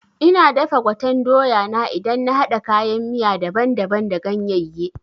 Ina dafa gwaten doya na idan na haɗa kayan miya daban daban da ganyaye